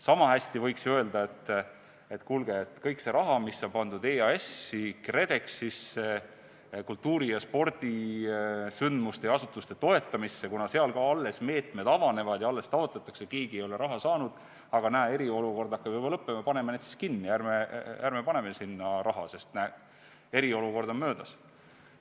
Sama hästi võiks öelda kogu selle raha kohta, mis on pandud EAS-i, KredExisse, kultuuri- ja spordisündmuste ja -asutuste toetamisse, kuna seal ka alles meetmed avanevad ja alles toetust taotletakse, keegi ei ole raha saanud, et kuulge, näete, eriolukord hakkab juba lõppema, paneme need siis kinni, ärme paneme sinna raha, sest eriolukord on möödas.